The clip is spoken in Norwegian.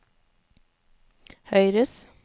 høyres